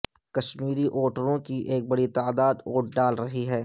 کشمیری ووٹروں کی ایک بڑی تعداد ووٹ ڈال رہی ہے